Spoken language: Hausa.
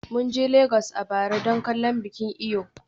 Mun je Legas a bara don kallon bikin Eyo.